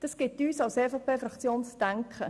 Das gibt uns als EVP-Fraktion zu denken.